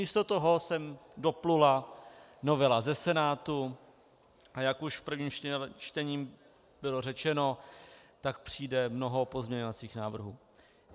Místo toho sem doplula novela ze Senátu, a jak už v prvním čtení bylo řečeno, tak přijde mnoho pozměňovacích návrhů.